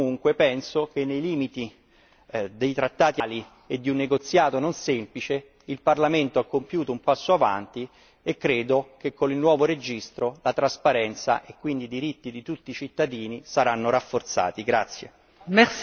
Nel complesso, comunque, ritengo che, nei limiti dei trattati attuali e di un negoziato non semplice, il Parlamento abbia compiuto un passo in avanti e che con il nuovo registro la trasparenza e quindi i diritti di tutti i cittadini saranno rafforzati.